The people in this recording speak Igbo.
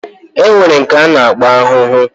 Enwere nke ana akpo ahụhụ